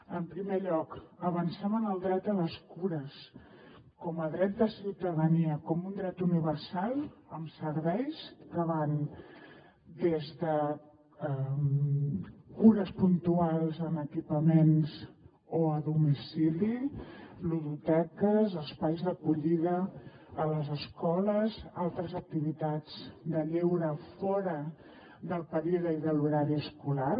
en primer lloc avancem en el dret a les cures com a dret de ciutadania com un dret universal amb serveis que van des de cures puntuals en equipaments o a domicili ludoteques espais d’acollida a les escoles altres activitats de lleure fora del període i de l’horari escolar